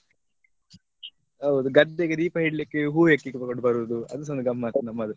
ಹೌದು ಗದ್ದೆಗೆ ದೀಪ ಇಡ್ಲಿಕ್ಕೆ ಹೂ ಹೆಕ್ಕಿಕೊಂಡು ಬರುದು ಅದು ಸಾ ಒಂದ್ ಗಮ್ಮತ್ ನಮ್ಮದು.